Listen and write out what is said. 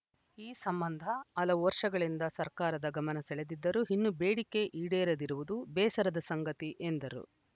ಈ ಸಂಬಂಧ ಹಲವು ವರ್ಷಗಳಿಂದ ಸರ್ಕಾರದ ಗಮನ ಸೆಳೆದಿದ್ದರೂ ಇನ್ನೂ ಬೇಡಿಕೆ ಈಡೇರದಿರುವುದು ಬೇಸರದ ಸಂಗತಿ ಎಂದರು